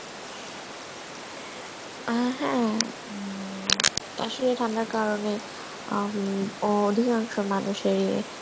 আ হ্যাঁ উম আসলে ঠান্ডার কারণে আ উম অধিকাংশ মানুষেরই